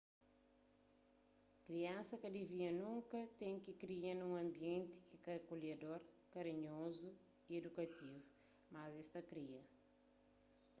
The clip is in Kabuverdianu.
kriansa ka divia nunka ten ki kria nun anbienti ki ka é akolhedor karinhozu y idukativu mas es ta kria